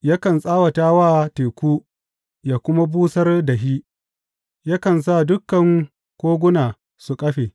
Yakan tsawata wa teku yă kuma busar da shi; yakan sa dukan koguna su kafe.